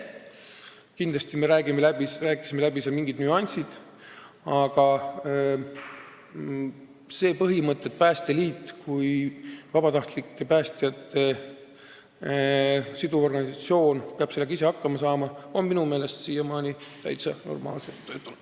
Muidugi me rääkisime ümarlaual mingid nüansid läbi, aga põhimõte, et Päästeliit kui vabatahtlike päästjate siduv organisatsioon peab sellega ise hakkama saama, on minu meelest siiamaani täitsa normaalselt töötanud.